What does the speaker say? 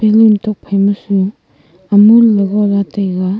balloon tokphai ma su amul le go la taiga.